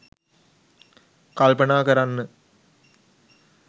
කල්පනා කරන්න